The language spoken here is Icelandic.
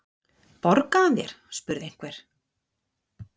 Borgaði hann þér? spurði einhver.